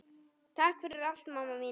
Takk fyrir allt, mamma mín.